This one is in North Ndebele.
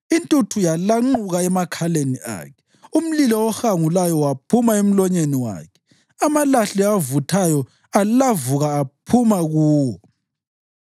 Intuthu yalanquka emakhaleni akhe; umlilo ohangulayo waphuma emlonyeni wakhe, amalahle avuthayo alavuka ephuma kuwo.